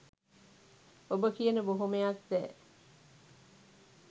ඔබ කියන බොහොමයක් දෑ